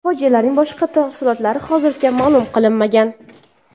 Fojianing boshqa tafsilotlari hozircha ma’lum qilinmagan.